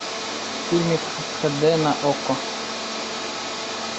фильм хд на окко